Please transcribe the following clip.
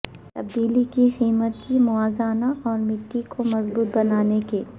تبدیلی کی قیمت کی موازنہ اور مٹی کو مضبوط بنانے کے